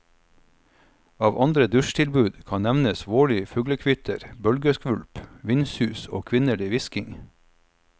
Av andre dusjtilbud kan nevnes vårlig fuglekvitter, bølgeskvulp, vindsus og kvinnelig hvisking.